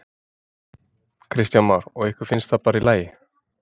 Kristján Már: Og ykkur finnst það bara allt í lagi?